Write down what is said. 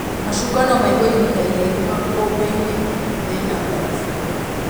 Macungwa no maĩgwo ihinda iraihũ makũmbĩ-inĩ mena mbarabũ